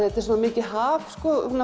þetta er svo mikið haf